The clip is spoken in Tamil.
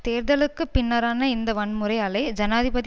தேர்தலுக்கு பின்னரான இந்த வன்முறை அலை ஜனாதிபதி